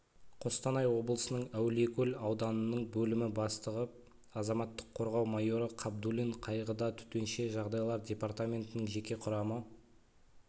қостанай облысының әулиекөл ауданының бөлімі бастығы азаматтық қорғау майоры қабдуллин қайғыда төтенше жағдайлар департаментінің жеке құрамы